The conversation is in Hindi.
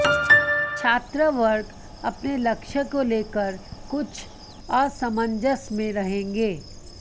छात्रवर्ग अपने लक्ष्य को लेकर कुछ असमंजस में रहेंगे